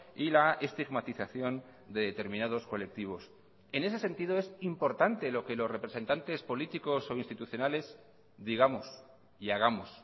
y la estigmatización de determinados colectivos en ese sentido es importante lo que los representantes políticos o institucionales digamos y hagamos